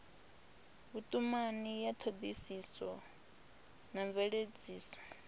vhutumani ya thodisiso na mveledziso